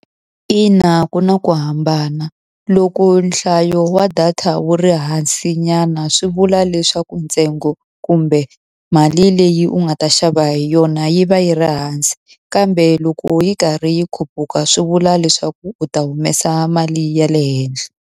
Ina ku na ku hambana. Loko nhlayo wa data wu ri hansinyana, swi vula leswaku ntsengo kumbe mali leyi u nga ta xava hi yona yi va yi ri hansi. Kambe loko yi karhi yi khuphuka, swi vula leswaku u ta humesa mali ya le henhla.